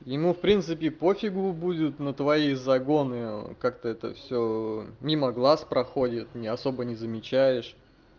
ему в принципе по фигу будет на твои загоны как-то это всё мимо глаз проходит не особо не замечаешь